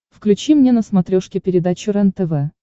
включи мне на смотрешке передачу рентв